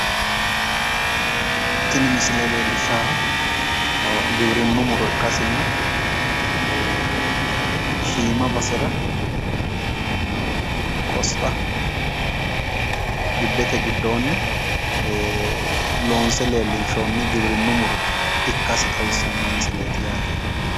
Tini misile leellishshahu giwirinnu muro ikkasinna shiima basera qosta gibbete giddoonni loonse leellishshannonnihagtiwirinnu muroikkasi xawissanno misileeti yaate